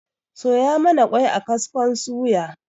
Soya mana ƙwai a kaskon suya